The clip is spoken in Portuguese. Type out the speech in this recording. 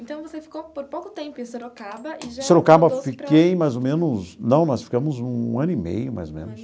Então, você ficou por pouco tempo em Sorocaba e já... Em Sorocaba, fiquei mais ou menos... Não, nós ficamos um ano e meio, mais ou menos.